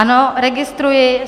Ano, registruji.